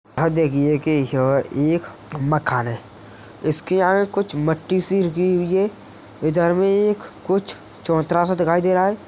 अ देखिए की यह एक मकान है इसके यहाँ कुछ मट्टी सी लगी हुई है। इधर मे एक कुछ चबूतरा सा दिखायी दे रहा है।